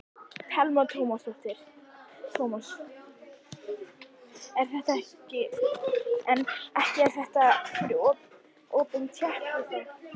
Telma Tómasson: En ekki er þetta opin tékki þá?